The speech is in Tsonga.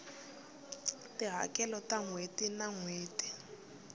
tihakelo ta nhweti na nhweti